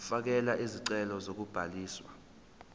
fakela isicelo sokubhaliswa